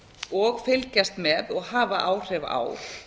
og fylgjast með og hafa áhrif á